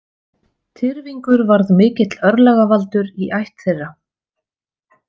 Tyrfingur varð mikill örlagavaldur í ætt þeirra.